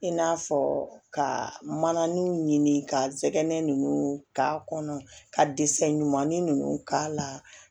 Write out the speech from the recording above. I n'a fɔ ka mana ni ka zɛgɛn ninnu k'a kɔnɔ ka ɲumanni ninnu k'a la